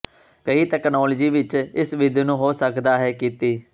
ਕਈ ਤਕਨਾਲੋਜੀ ਵਿਚ ਇਸ ਵਿਧੀ ਨੂੰ ਹੋ ਸਕਦਾ ਹੈ ਕੀਤੀ